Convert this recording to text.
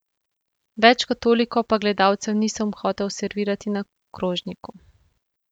Več kot toliko pa gledalcem nisem hotel servirati na krožniku.